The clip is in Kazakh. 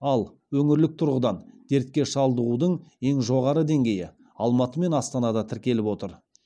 ал өңірлік тұрғыдан дертке шалдығудың ең жоғары деңгейі алматы мен астанада тіркеліп отыр